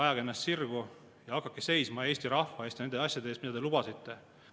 Ajage ennast sirgu, hakake seisma Eesti rahva eest ja nende asjade eest, mida te lubasite.